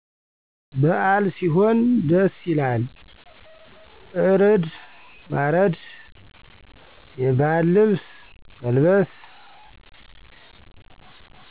በአል ሢሆን ደስ ይላል እርድ ማረድ የባህል ልብስ መልበስ